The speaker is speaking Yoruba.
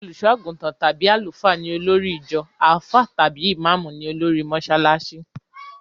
Olùsọ́-àgùntàn tàbí Àlùfáà ni olórí ìjọ; àfáà tàbí ìmáàmú ní olórí mọsálásí.